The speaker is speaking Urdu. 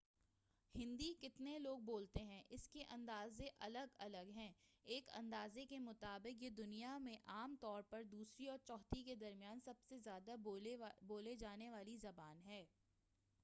ہندی کتنے لوگ بولتے ہیں اس کے اندازے الگ الگ ہیں ایک اندازے کے مطابق یہ دنیا میں عام طور پر دوسری اور چوتھی کے درمیان سب سے زیادہ بولی جانے والی زبان ہے